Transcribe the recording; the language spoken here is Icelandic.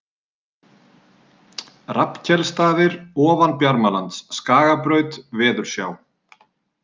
Rafnkelsstaðir, Ofan Bjarmalands, Skagabraut, Veðursjá